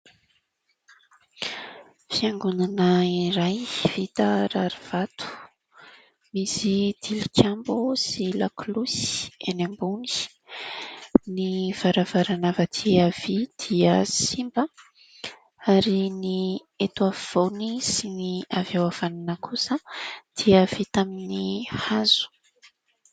Fiangonana iray vita rarivato. Misy tilikambo sy lakolosy eny ambony. Ny varavarana avy aty havia dia simba. Ary ny eto afovoany sy ny avy eo havanana kosa dia vita amin'ny hazo.